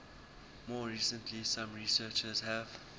more recently some researchers have